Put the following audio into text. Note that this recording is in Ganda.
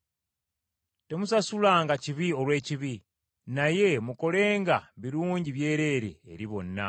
Temusasulanga kibi olw’ekibi, naye mukolenga birungi byereere eri bonna.